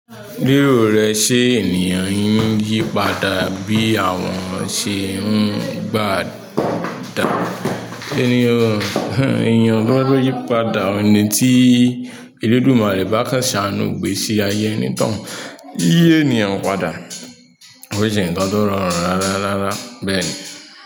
Ríro rẹ ṣe ènìyàn n yí padà bí àwọn ṣe ń gbà dá. Ènìyàn tó yí padà ni tí èlédùmarè bá kan ṣà nú igbèsì ayé ẹni tóun. Yiyi ènìyàn padà, kó jẹ ǹkan tó rọrùn rárá rárá bẹ́ẹ̀ ni.